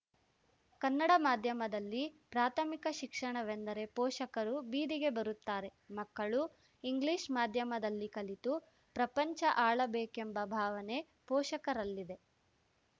ಕನ್ನಡ ಮಾಧ್ಯಮದಲ್ಲಿ ಪ್ರಾಥಮಿಕ ಶಿಕ್ಷಣವೆಂದರೆ ಪೋಷಕರು ಬೀದಿಗೆ ಬರುತ್ತಾರೆ ಮಕ್ಕಳು ಇಂಗ್ಲಿಷ್‌ ಮಾಧ್ಯಮದಲ್ಲಿ ಕಲಿತು ಪ್ರಪಂಚ ಆಳಬೇಕೆಂಬ ಭಾವನೆ ಪೋಷಕರಲ್ಲಿದೆ